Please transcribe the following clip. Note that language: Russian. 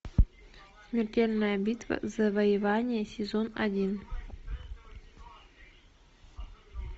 смертельная битва завоевание сезон один